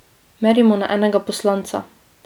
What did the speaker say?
Merimo na enega poslanca.